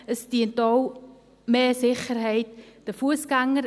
Es dient auch für mehr Sicherheit der Fussgänger.